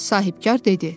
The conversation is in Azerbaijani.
Sahibkar dedi: